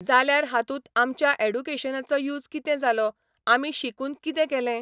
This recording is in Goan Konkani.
जाल्यार हातूंत आमच्या एडुकेशनाचो यूज कितें जालो आमी शिकून कितें केलें